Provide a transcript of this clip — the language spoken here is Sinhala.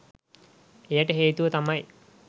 එයට හේතුව තමයි